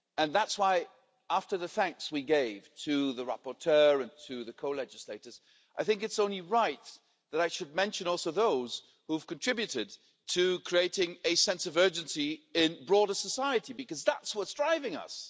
That is why, after the thanks we gave to the rapporteur and to the co legislators, I think it's only right that I should mention also those who have contributed to creating a sense of urgency in broader society, because that's what's driving us.